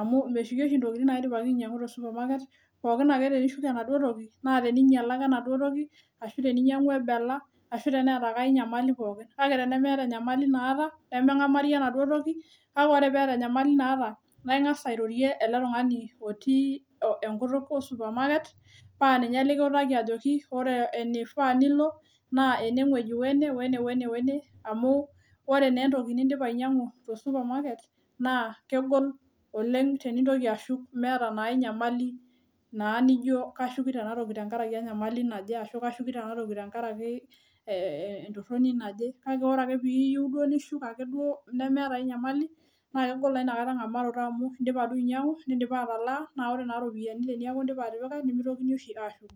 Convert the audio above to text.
amu meshuki oshi ntokitin naidipaki ainyang'u te supermarket pooki naake tenishuku enaduo toki naa teniinyala enaduo toki, ashu teneinyala, ashu tenebela, ashu teneeta enkae inyamali pooki, kake tenemeeta enyamali naata, nemengamari enaduo toki, kake ore peeta enyamaki naata naa ingas airorie ale tungani otii enkutuk esupamaket paa ninye likiutaki ajoki ore eneifaa nilo naa eneweji ,oene one, one amuu ore naa entoki nindipa ainyang'u te supermarket naa kegol oleng tenintoki ashuk emeeta naa inyamali naa nijo kashukito enatoki tengaraki enyamali naje, ashu ajo kashukuto enatoki tengaraki entoroni naje, kake ore ake piiyeu duo nishuk ake duo nemeeta ake inyamali, naa kegol naa inakata ng'amaroto amuu indipa duo ainyang'u, nindipa atalaa, naa kore naa iropiyiani teneaku indipa atipika nemeitokini oshi aashuku.